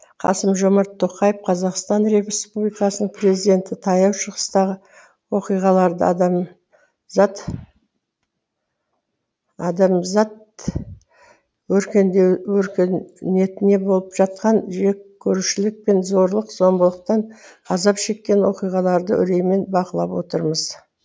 қасым жомарт тоқаев қазақстан республикасының президенті таяу шығыстағы оқиғаларды адамзат өркениетінде болып жатқан жеккөрушілік пен зорлық зомбылықтан азап шеккен оқиғаларды үреймен бақылап отырмыз